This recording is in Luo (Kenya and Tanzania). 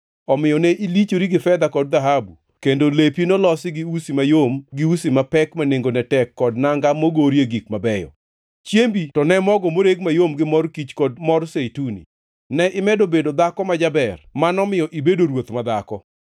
Omiyo ne ilichori gi fedha kod dhahabu, kendo lepi nolosi gi usi mayom gi usi mapek ma nengone tek kod nanga mogorie gik mabeyo. Chiembi to ne mogo moreg mayom gi mor kich kod mor zeituni. Ne imedo bedo dhako ma jaber manomiyo ibedo ruoth madhako.